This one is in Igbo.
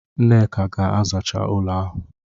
Nneka ga-azacha ụlọ ahụ!